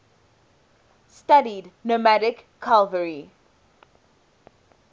studied nomadic cavalry